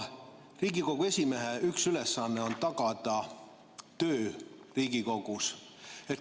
Riigikogu esimehe üks ülesanne on tagada töö Riigikogus.